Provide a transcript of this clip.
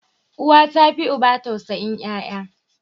Uwa tafi uba tausayin yaya.